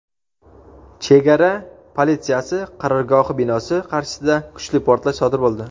chegara politsiyasi qarorgohi binosi qarshisida kuchli portlash sodir bo‘ldi.